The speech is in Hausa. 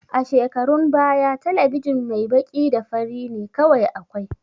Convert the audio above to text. A shekarun baya talabijin mai baƙi da fari ne kawai akwai